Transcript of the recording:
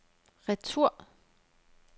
retur